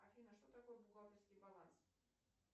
афина что такое бухгалтерский баланс